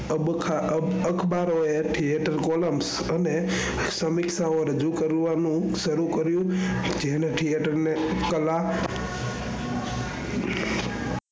અબખા અખબારો એ theater columns અને સમીક્ષા ઓ રજૂ કરવાનું શરૂ કર્યું જેને theater ને કલા